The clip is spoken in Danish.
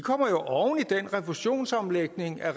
den refusionsomlægning af